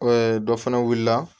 dɔ fana wulila